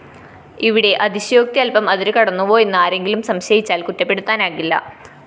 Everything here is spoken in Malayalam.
ഇവിടെ അതിശയോക്തി അല്‍പം അതിരുകടന്നുവോ എന്ന് ആരെങ്കിലും സംശയിച്ചാല്‍ കുറ്റപ്പെടുത്താനാകില്ല